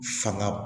Fanga